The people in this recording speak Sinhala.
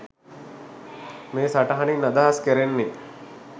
මේ සටහනින් අදහස් කැරෙන්නේ